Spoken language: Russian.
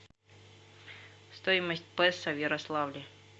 стоимость песо в ярославле